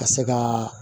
Ka se ka